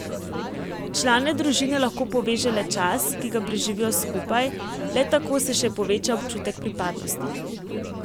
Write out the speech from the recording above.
Člane družine lahko poveže le čas, ki ga preživijo skupaj, le tako se še poveča občutek pripadnosti.